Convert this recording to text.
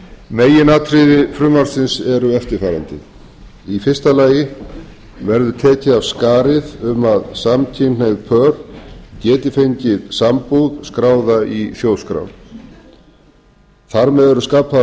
meginatriði frumvarpsins eru eftirfarandi fyrsta tekið verði af skarið um að samkynhneigð pör geti fengið sambúð skráða í þjóðskrá þar með eru skapaðar